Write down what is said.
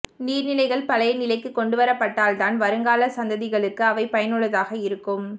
நீர் நிலைகள் பழைய நிலைக்கு கொண்டுவரப்பட்டால்தான் வருங்கால சந்ததிகளுக்கு அவை பயனுள்ளதாக இருக்கும்